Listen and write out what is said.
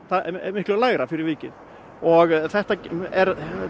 miklu lægra fyrir vikið og þetta er